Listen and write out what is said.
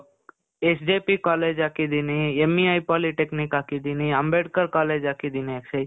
SJP college ಹಾಕಿದ್ದೀನೀ, MEI polytechnic ಹಾಕಿದ್ದೀನೀ, Ambedkar college ಹಾಕಿದ್ದೀನಿ ಅಕ್ಷಯ್.